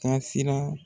Taasira